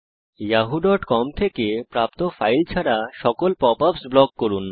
yahooকম থেকে প্রাপ্ত ফাইল ছাড়া সকল পপ আপস ব্লক করুন